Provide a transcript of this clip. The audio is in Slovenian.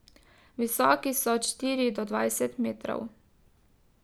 Visoki so od štiri do dvajset metrov.